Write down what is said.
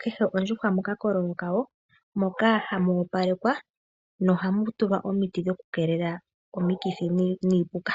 kehe ondjuhwa mokakololo kawo moka hamu opalekwa nohamu tulwa omiti dhoku kelela omikithi niipuka.